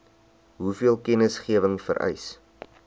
hoeveel kennisgewing vereis